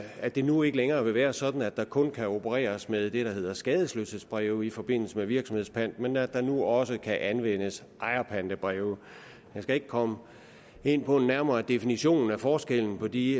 at det nu ikke længere vil være sådan at der kun kan opereres med det der hedder skadesløshedsbreve i forbindelse med en virksomhedspant men at der nu også kan anvendes ejerpantebreve jeg skal ikke komme ind på en nærmere definition af forskellen på de